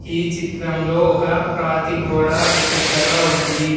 ఈ చిత్రంలో ఒక రాతి గోడ పెద్దగా ఉంది.